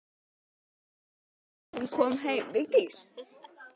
Segist hafa gert það um leið og hún kom heim.